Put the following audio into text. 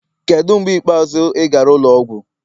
Kedu mgbe ikpeazụ ị gara ụlọ ọgwụ?